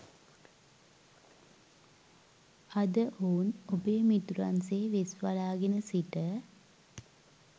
අද ඔවුන් ඔබේ මිතුරන් සේ වෙස්වලාගෙන සිට